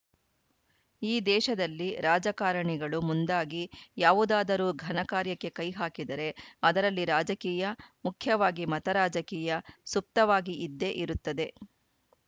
ಈ ದೇಶದಲ್ಲಿ ರಾಜಕಾರಣಿಗಳು ಮುಂದಾಗಿ ಯಾವುದಾದರೂ ಘನಕಾರ್ಯಕ್ಕೆ ಕೈಹಾಕಿದರೆ ಅದರಲ್ಲಿ ರಾಜಕೀಯ ಮುಖ್ಯವಾಗಿ ಮತ ರಾಜಕೀಯ ಸುಪ್ತವಾಗಿ ಇದ್ದೇ ಇರುತ್ತದೆ